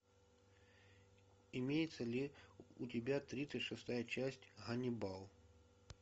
имеется ли у тебя тридцать шестая часть ганнибал